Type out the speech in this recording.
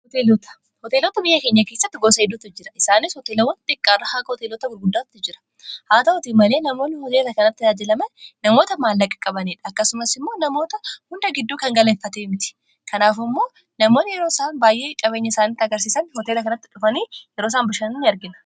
hoteelota biyya keenya kiissatti gosa hiduutu jira isaanis hoteelawwan xiqqaarra haka hootelota gulguddaatti jira haa tahotii malee namoonni hoteela kanatti aaajilaman namoota maallaqa-qabanii akkasumas immoo namoota hunda gidduu kan galeeffatee mti kanaaf immoo namoonni yeroo isaa baa'ee qabeenya isaanitti agarsiisan hoteela kanatti dhufanii yeroo saan bashaain arginna